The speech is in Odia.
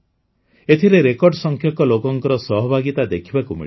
ଏଥିରେ ରେକର୍ଡସଂଖ୍ୟକ ଲୋକଙ୍କ ସହଭାଗିତା ଦେଖିବାକୁ ମିଳିଲା